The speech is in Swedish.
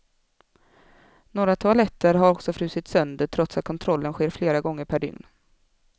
Några toaletter har också frusit sönder, trots att kontrollen sker flera gånger per dygn.